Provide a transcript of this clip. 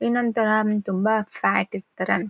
ಇನ್ನೊಂತರಾ ತುಂಬಾ ಫ್ಯಾಟ್ ಇರ್ತರೆಂ.